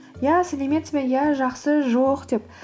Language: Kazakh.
иә сәлеметсіз бе иә жақсы жоқ деп